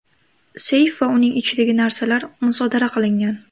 Seyf va uning ichidagi narsalar musodara qilingan.